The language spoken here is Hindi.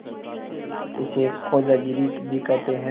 इसे खोजागिरी भी कहते हैं